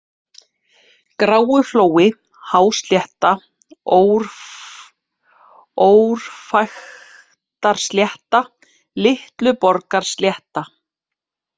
Gráuflói, Háslétta, Órfæktarslétta, Litluborgarslétta